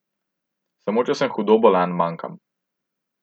Samo če sem hudo bolan, manjkam.